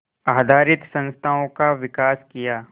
आधारित संस्थाओं का विकास किया